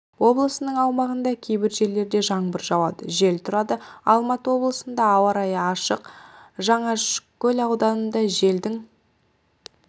облысының аумағында кейбір жерлерде жаңбыр жауады жел тұрады алматы облысында ауа-райы ашық жалаңашкөл ауданында желдің